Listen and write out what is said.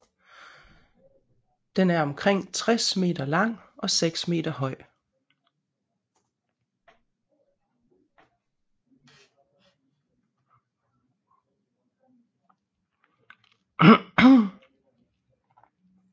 Den er omkring 60 m lang og 6 meter høj